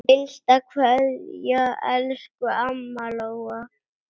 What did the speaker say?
HINSTA KVEÐJA Elsku amma Lóa.